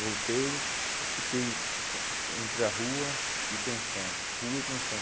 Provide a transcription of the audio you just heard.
Voltei, fiquei entre a rua e pensão, rua e pensão.